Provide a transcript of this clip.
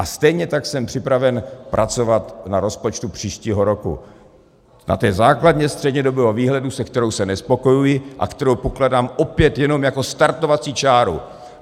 A stejně tak jsem připraven pracovat na rozpočtu příštího roku, na té základně střednědobého výhledu, se kterou se nespokojuji a kterou pokládám opět jenom jako startovací čáru.